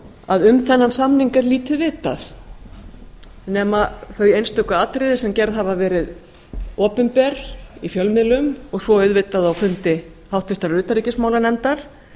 að um þennan samning er lítið vitað nema þau einstöku atriði sem gerð hafa verið opinber í fjölmiðlum og svo auðvitað á fundi háttvirtrar utanríkismálanefndar